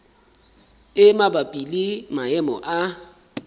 e mabapi le maemo a